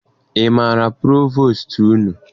Ị maara provostu unu?